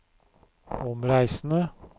omreisende